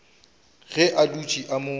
ge a dutše a mo